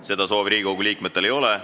Seda soovi Riigikogu liikmetel ei ole.